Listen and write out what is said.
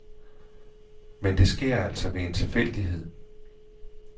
Men det sker altså ved en tilfældighed.